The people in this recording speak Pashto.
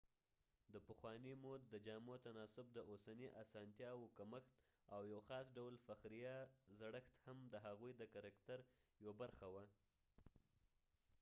دپخوانی مود د جامو تناسب ،د اوسنی اسانتیا و کمښت ، او یو خاص ډول فخریه زړښت هم د هغوي د کرکتر یوه برخه وه